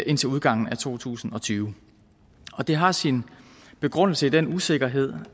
indtil udgangen af to tusind og tyve det har sin begrundelse i den usikkerhed